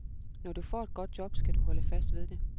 Når du får et godt job, skal du holde fast ved det.